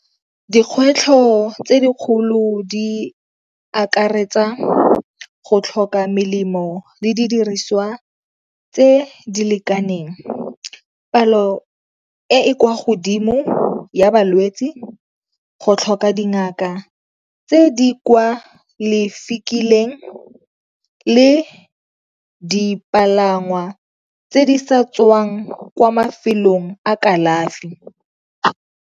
Dikgwetlho tse dikgolo di akaretsa go tlhoka melemo le di diriswa tse di lekaneng, palo e e kwa godimo ya balwetsi, go tlhoka dingaka tse di kwa le dipalangwa tse di sa tswang kwa mafelong a kalafi.